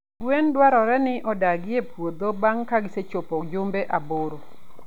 Gwen dwarore ni odargie e puodho bang' ka gisechopo jumbe aboro.